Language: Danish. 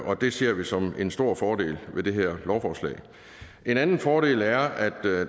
og det ser vi som en stor fordel ved det her lovforslag en anden fordel er at